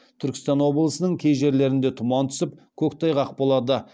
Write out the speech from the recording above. түркістан облысының кей жерлерінде тұман түсіп көктайғақ болады